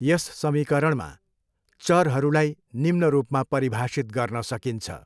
यस समीकरणमा चरहरूलाई निम्न रूपमा परिभाषित गर्न सकिन्छ।